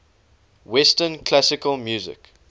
western classical music